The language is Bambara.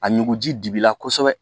A ɲugu ji digila kosɛbɛ